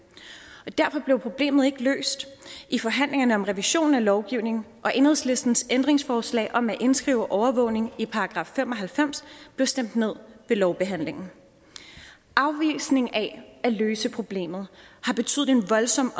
derfor blev problemet ikke løst i forhandlingerne om revision af lovgivningen og enhedslistens ændringsforslag om at indskrive overvågning i § fem og halvfems blev stemt ned ved lovbehandlingen afvisningen af at løse problemet har betydet en voldsom